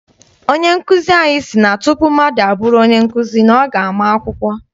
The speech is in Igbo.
Onye nkụzi anyị si na tupu mmadụ abụrụ onye nkụzi, ọ ga ama akwụkwọ.